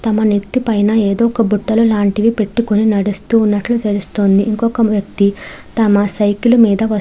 తమ నెత్తి పైన ఏదో బుట్టలు లాంటివి పెట్టుకొని నడుస్తున్నట్టు తెలుస్తుంది. ఇంకొక వ్యక్తి తన సైకిల్ మీద --